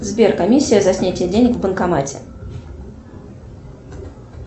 сбер комиссия за снятие денег в банкомате